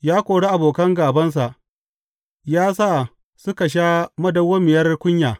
Ya kori abokan gābansa; ya sa suka sha madawwamiyar kunya.